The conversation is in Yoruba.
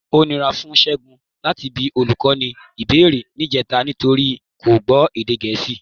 Ó nira fún Ṣẹ́gun láti bi olùkọ́ ní ìbéèrè níjẹta nítorí kò gbọ́ èdè Gẹ̀ẹ́sì.